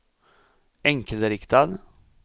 enkelriktad